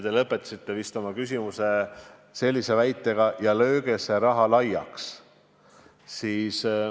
Te lõpetasite vist sellise väljendiga, et "lööge see raha laiaks".